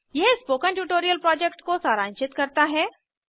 यह spoken tutorial project को सारांशित करता है